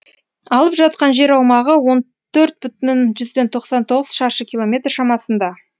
алып жатқан жер аумағы он төрт бүтін жүзден тоқсан тоғыз шаршы километр шамасында